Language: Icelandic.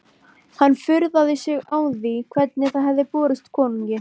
Hann furðaði sig á því hvernig það hefði borist konungi.